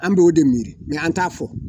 An bɛ o de miiri mɛ an t'a fɔ.